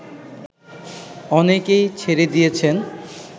অনেকেই ছেড়ে দিয়েছেন